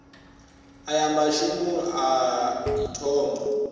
a ya mašemong a ithoma